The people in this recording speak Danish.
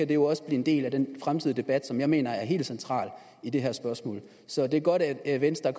det jo også blive en del af den fremtidige debat som jeg mener er helt central i det her spørgsmål så det er godt at venstre